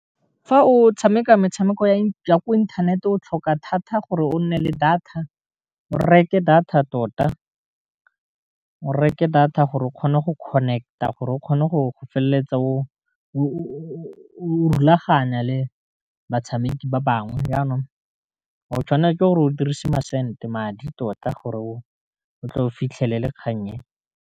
Fa o tshameka metshameko ya ko inthaneteng o tlhoka thata gore o nne le data, o reke data tota o reke data gore o kgone go connect-a a gore o kgone go feleletsa o rulaganya le batshameki ba bangwe, jaanong o tshwanetse ke gore o dirise ma sente madi tota, gore o tle o fitlhelele kgang e.